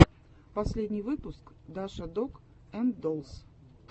последний выпуск даша дог энд доллс